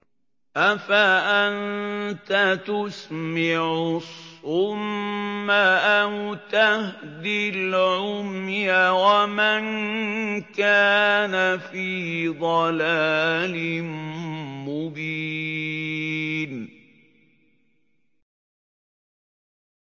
أَفَأَنتَ تُسْمِعُ الصُّمَّ أَوْ تَهْدِي الْعُمْيَ وَمَن كَانَ فِي ضَلَالٍ مُّبِينٍ